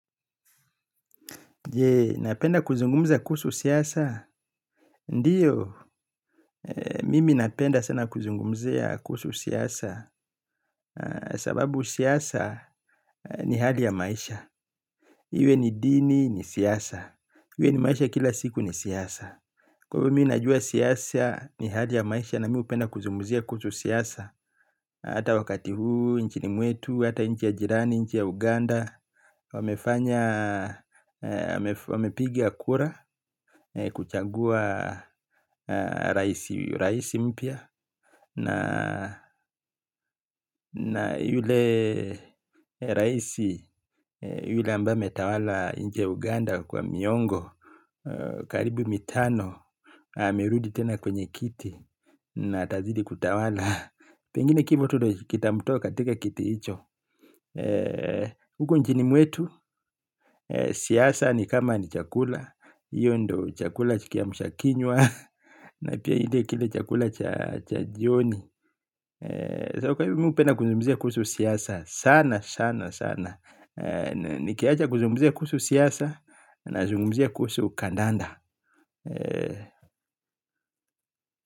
Je, napenda kuzungumza kuhusu siyasa? Ndiyo, mimi napenda sana kuzungumzia kusu siyasa, sababu siyasa ni hali ya maisha, iwe ni dini ni siyasa, iwe ni maisha kila siku ni siyasa. Kwa hivo mimi najua siasa ni hali ya maisha na mimi hupenda kuzungumzia kuhusu siasa. Hata wakati huu, nchini mwetu, hata nchi ya jirani, nchi ya Uganda Wamefanya, wamepiga kura, kuchagua rais mpya. Na yule rais, yule ambaye ametawala nchi ya Uganda kwa miongo karibu mitano amerudi tena kwenye kiti. Na atazidi kutawala. Pengine kifo tu ndo kitamtoa katika kiti hicho. Huko nchini mwetu siasa ni kama ni chakula hiyo ndo chakula kiamshakinywa. Na pia kile chakula cha jioni. Sasa kwa hivo mimi hupenda kuzumgumzia kuhusu siasa sana sana sana. Nikiacha kuzungumzia kuhusu siasa nazungumzia kuhusu kandanda.